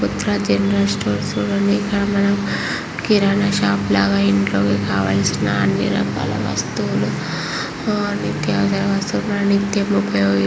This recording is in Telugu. ఉత్తర జనరల్ స్టోర్ ఉనాయి ఇక్కడ మనం కిరాణా షాప్ లాగా ఇంట్లోకి కావలసిన అన్నీ రకాల వస్తువులు నిత్య అవసర వస్తువులు మనం నిత్యం ఉపయోగ--